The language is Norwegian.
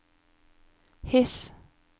His